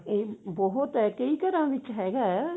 ਇਹ ਬਹੁਤ ਹੈ ਕਈ ਘਰਾਂ ਵਿੱਚ ਹੈਗਾ ਇਹ